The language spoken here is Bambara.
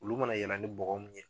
Ulu ma na yala ni bɔgɔ mun ye